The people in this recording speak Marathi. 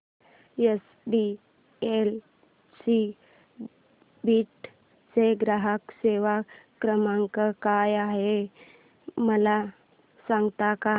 एचडीएफसी बीड चा ग्राहक सेवा क्रमांक काय आहे मला सांगता का